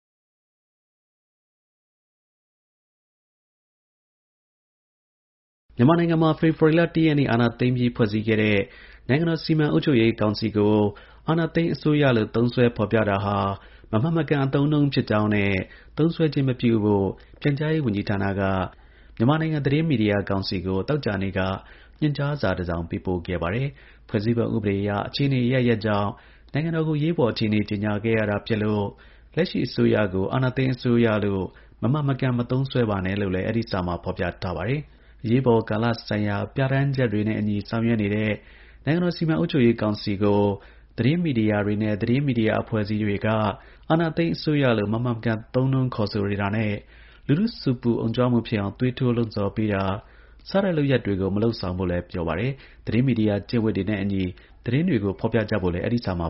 မြန်မာနိုင်ငံမှာ ဖေဖော်ဝါရီ ၁ ရက်နေ့ အာဏာသိမ်းပြီး ဖွဲ့စည်းခဲ့တဲ့ နိုင်ငံတော် စီမံအုပ်ချုပ်ရေးကောင်စီကို အာဏာသိမ်းအစိုးရလို့ သုံးစွဲဖော်ပြတာဟာ မမှန်မကန် အသုံးအနှုန်းဖြစ်ကြောင်းနဲ့ သုံးစွဲခြင်းမပြုဖို့ ပြန်ကြားရေးဝန်ကြီးဌာနက မြန်မာနိုင်ငံ သတင်းမီဒီယာ ကောင်စီကို သောကြာနေ့က ညွှန်ကြားစာ တစောင်ပေးပို့ခဲ့ပါတယ်။ ဖွဲ့စည်းပုံ အခြေခံ ဥပဒေအရ အခြေအနေအရပ်ရပ်ကြောင့် နိုင်ငံတော် ကို အရေးပေါ် အခြေအနေကြေညာခဲ့ရတာဖြစ်လို့ လက်ရှိ အစိုးရကို အာဏာသိမ်းအစိုးရလို့ မမှန်မကန် မသုံးစွဲပါနဲ့လို့လည်း အဲဒီ စာမှာ ဖော်ပြထားပါတယ်။ သတင်းမီဒီယာတွေနဲ့ သတင်းမီဒီယာ အဖွဲ့အစည်းတွေအနေနဲ့ အရေးပေါ်ကာလ ဆိုင်ရာ ပြဌာန်းချက်တွေနဲ့အညီ ဆောင်ရွက်နေတဲ့ နိုင်ငံတော် စီမံအုပ်ချုပ်ရေးကောင်စီကို အာဏာသိမ်းအစိုးရလို့ မမှန်မကန် သုံးနှုန်းခေါ်ဆိုတာနဲ့ လူထုဆူပူအုံကြွမှုဖြစ်အောင် သွေးထိုး လှုံ့ဆော်ပေးတာ စတဲ့ လုပ်ရပ်တွေကို မလုပ်ဆောင်ဖို့လည်း ပြောပါတယ်။။ သတင်းမီဒီယာ ကျင့်ဝတ်တွေနဲ့ အညီ သတင်းတွေကို ဖော်ပြကြဖို့လည်း အဲဒီ စာမှာ